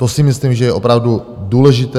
To si myslím, že je opravdu důležité.